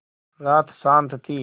रात शान्त थी